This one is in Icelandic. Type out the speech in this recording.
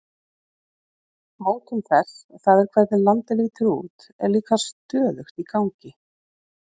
Mótun þess, það er hvernig landið lítur út, er líka stöðugt í gangi.